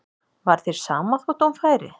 Var þér sama þótt hún færi?